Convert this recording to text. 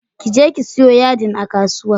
Ki je ki siyo yadin a kasuwa.